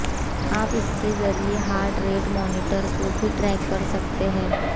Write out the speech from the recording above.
आप इसके जरिए हार्ट रेट मॉनिटर को भी ट्रैक कर सकते हैं